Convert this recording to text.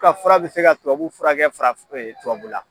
Ka fura bɛ se ka tubabu furakɛ fara tubabula.